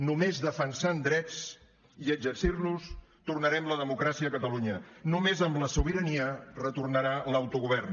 només defensant drets i exercint los tornarem la democràcia a catalunya només amb la sobirania retornarà l’autogovern